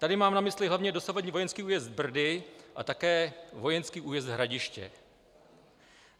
Tady mám na mysli hlavně dosavadní vojenský újezd Brdy a také vojenský újezd Hradiště.